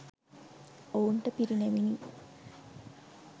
ඔවුන්ට පිරිනැමිනි.